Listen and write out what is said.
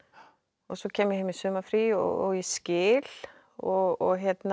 og svo kem ég heim í sumarfrí og ég skil og